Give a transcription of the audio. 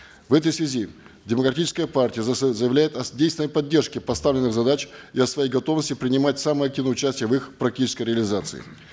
в этой связи демократическая партия заявляет о действенной поддержке поставленных задач и о своей готовности принимать самое активное участие в их практической реализации